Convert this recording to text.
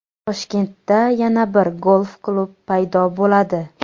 Toshkentda yana bir golf-klub paydo bo‘ladi.